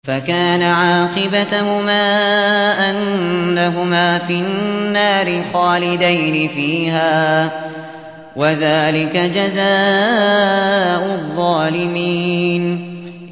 فَكَانَ عَاقِبَتَهُمَا أَنَّهُمَا فِي النَّارِ خَالِدَيْنِ فِيهَا ۚ وَذَٰلِكَ جَزَاءُ الظَّالِمِينَ